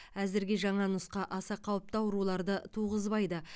әзірге жаңа нұсқа аса қауіпті ауруларды туғызбайды